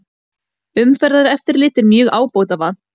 Umferðareftirlit er mjög ábótavant